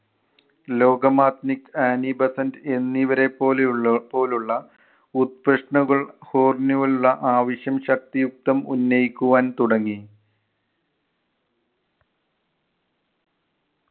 ലോകമാത്നിക്, Annie Besant എന്നിവരെ പോലെയുള്ളൊ പോലുള്ള ആവശ്യം ശക്തിയുക്തം ഉന്നയിക്കുവാൻ തുടങ്ങി.